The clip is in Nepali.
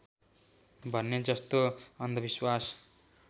भन्ने जस्तो अन्धविश्वास